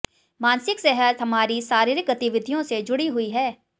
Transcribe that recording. मानसिक सेहत हमारी शारीरिक गतिविधियों से जुड़ी हुई है